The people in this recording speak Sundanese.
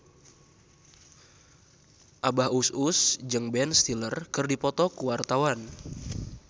Abah Us Us jeung Ben Stiller keur dipoto ku wartawan